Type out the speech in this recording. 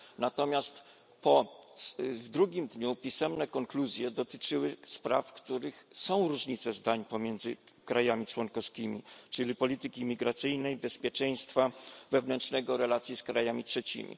Natomiast w drugim dniu pisemne konkluzje dotyczyły spraw, w których są różnice zdań pomiędzy krajami członkowskimi, czyli polityki imigracyjnej, bezpieczeństwa wewnętrznego, stosunków z krajami trzecimi.